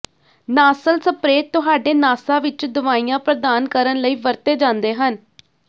nasal spray ਤੁਹਾਡੇ ਨਾਸਾਂ ਵਿੱਚ ਦਵਾਈਆਂ ਪ੍ਰਦਾਨ ਕਰਨ ਲਈ ਵਰਤੇ ਜਾਂਦੇ ਹਨ